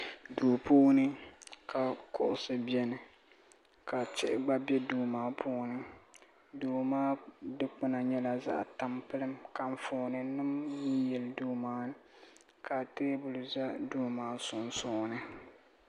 Duu puuni ka kuɣusi biɛni ka tihi gba be duu maa puuni duu maa dikpina nyɛla zaɣa tampilim ka anfooni nima yili yili duu maa ni ka teebuli za duu maa sunsuuni.